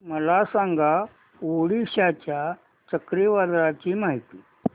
मला सांगा ओडिशा च्या चक्रीवादळाची माहिती